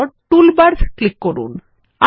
তারপর toolbars click করুন